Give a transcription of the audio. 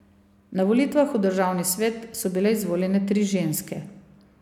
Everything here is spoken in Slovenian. Na volitvah v državni svet so bile izvoljene tri ženske.